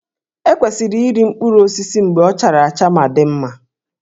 E kwesịrị iri mkpụrụ osisi mgbe ọ chara acha ma dị mma